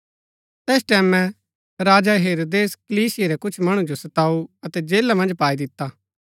तैस टैमैं राजा हेरोदेस कलीसिया रै कुछ मणु जो सताऊ अतै जेला मन्ज पाई दिता